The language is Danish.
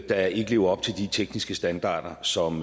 der ikke lever op til de tekniske standarder som